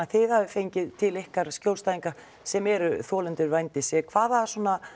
þið hafið fengið til ykkar skjólstæðinga sem eru þolendur vændis hvaða